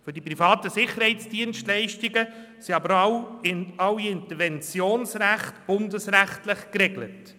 Für die privaten Sicherheitsdienstleistungen sind auch alle Interventionsrechte bundesrechtlich geregelt.